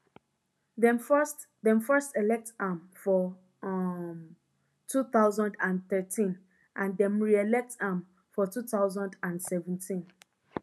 dem first dem first elect am for um two thousand and thirteen and dem reelect am for two thousand and seventeen